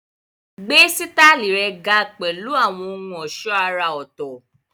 Gbé sítáìlì rẹ ga pẹ̀lú àwọn ohun ọ̀ṣọ́ àrà ọ̀tọ̀